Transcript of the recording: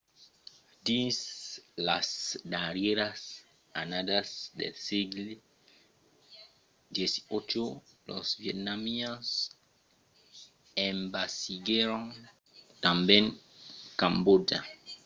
dins las darrièras annadas del sègle xviii los vietnamians envasiguèron tanben cambòtja